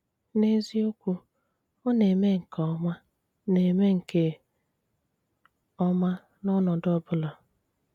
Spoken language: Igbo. N’ezíokwù, ọ na-eme nkè ómá na-eme nkè ómá n’ọnọdụ ọ̀bụ̀là.